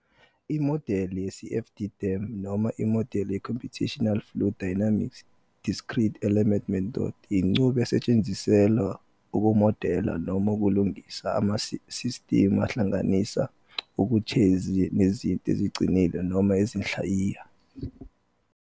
Imodeli ye- CFD-DEM, noma imodeli ye-Computational Fluid Dynamics - Discrete Element Method, inqubo esetshenziselwa ukumodela noma ukulingisa amasistimu ahlanganisa uketshezi nezinto eziqinile noma izinhlayiya.